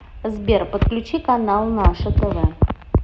сбер подключи канал наше тв